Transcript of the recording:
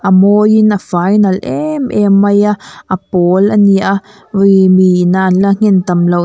a mawiin a fai nalh em em mai a a pawl a ni a awii miin a an la nghen tam loh --